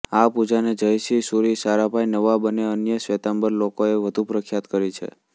આ પૂજાને જયસિંહ સુરી સારાભાઈ નવાબ અને અન્ય શ્વેતાંબર લોકોએ વધુ પ્રખ્યાત કરી છે